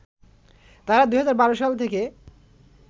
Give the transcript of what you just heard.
তারা ২০১২ সাল থেকে